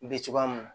Be cogoya mun na